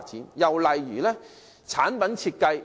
另一個例子是產品設計。